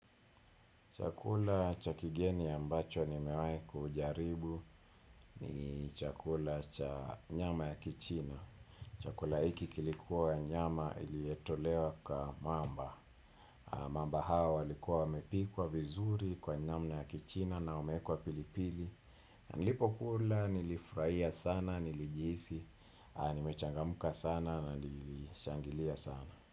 Chakula cha kigeni ya mbacho ni mewai kujaribu ni chakula cha nyama ya kichina. Chakula iki kilikuwa nyama ilietolewa kwa mamba. Mamba hawa walikuwa wamepikwa vizuri kwa namna ya kichina na umekwa pilipili. Na nilipo kula nilifurahia sana, nilijisi, nimechangamka sana na nilishangilia sana.